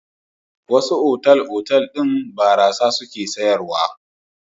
Wasu otal-otal ɗin barasa suke sayarwa.